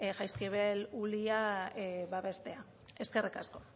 jaizkibel ulia babestea eskerrik asko